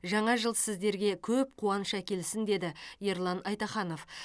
жаңа жыл сіздерге көп қуаныш әкелсін деді ерлан айтаханов